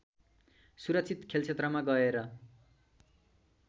सुरक्षित खेलक्षेत्रमा गएर